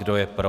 Kdo je pro?